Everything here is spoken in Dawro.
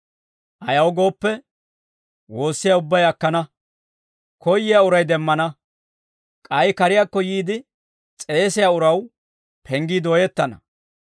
Ayaw gooppe, woossiyaa ubbay akkana; koyyiyaa uray demmana; k'ay kariyaakko yiide s'eesiyaa uraw penggii dooyettana.